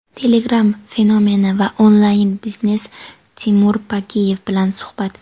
Telegram fenomeni va onlayn biznes — Timur Bakiyev bilan suhbat.